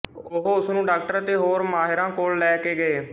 ਉਹ ਉਸਨੂੰ ਡਾਕਟਰ ਅਤੇ ਹੋਰ ਮਾਹਿਰਾਂ ਕੋਲ ਲੈ ਕੇ ਗਏ